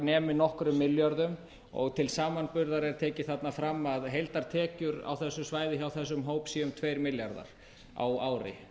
nemi nokkrum milljörðum til samanburðar er tekið þarna fram að heildartekjur á þessu svæði hjá þessum hópi séu um tveir milljarðar á ári